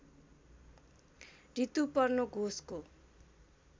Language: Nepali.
रितुपर्नो घोषको